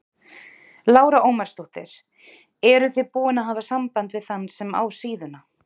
Lára Ómarsdóttir: Eruð þið búin að hafa samband við þann sem á síðuna?